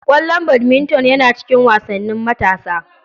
Ƙwallon badminton yana cikin wasannin matasa.